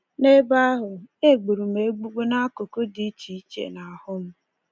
N’ebe ahụ, e gburu m egbugbu n’akụkụ dị iche iche nahụ m.